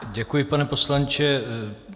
Děkuji, pane poslanče.